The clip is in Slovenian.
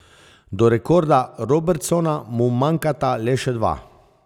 Do rekorda Robertsona mu manjkata le še dva.